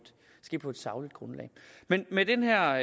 sagligt grundlag med de her